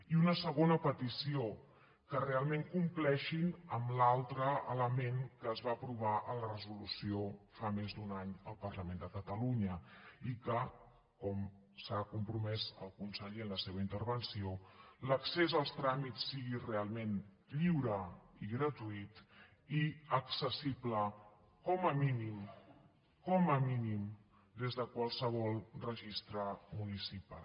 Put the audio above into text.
i una segona petició que realment compleixin amb l’altre element que es va aprovar a la resolució fa més d’un any al parlament de catalunya i que com s’hi ha compromès el conseller en la seva intervenció l’accés als tràmits sigui realment lliure i gratuït i accessible com a mínim com a mínim des de qualsevol registre municipal